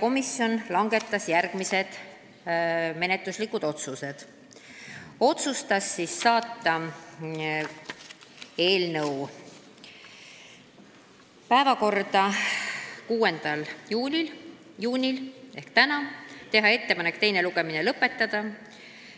Komisjon langetas järgmised menetluslikud otsused: teha ettepanek võtta eelnõu täiskogu 6. juuni istungi päevakorda, teha ettepanek teine lugemine lõpetada ja